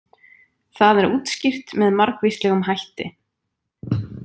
Það er útskýrt með margvíslegum hætti.